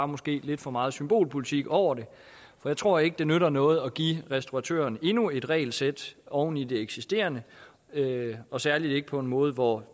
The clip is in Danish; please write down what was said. måske er lidt for meget symbolpolitik over det for jeg tror ikke det nytter noget at give restauratørerne endnu et regelsæt oven i det eksisterende og særlig ikke på en måde hvor